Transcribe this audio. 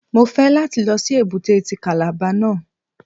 Mo fẹ́ láti lọ sí èbúté ti Kàlàba náà.